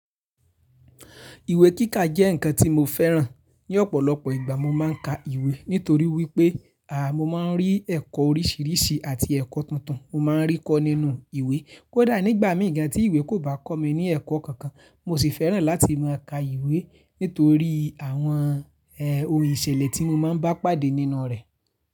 Ìwé kíkà jẹ́ ǹkan tí mo fẹ́ràn. Ní ọ̀pọ̀lọpọ̀ ìgbà mo máa ń ka ìwé nítorí wípé, mo máa ń rí ẹ̀kọ́ oríṣiríṣi àti ẹ̀kọ́ tuntun. Mo máa ń rí kọ́ nínú ìwé. Kódà nígbà mìí gàn tí ìwé kò bá kọ́ mi ní ẹ̀kọ́ kankan, mo sì fẹ́ràn láti máa ka ìwé nítorí àwọn, ohun ìṣẹ̀lẹ̀ tí mo máa ń bá pàdé nínú rẹ̀.